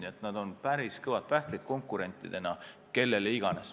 Nii et nad on konkurentidena päris kõvad pähklid kellele iganes.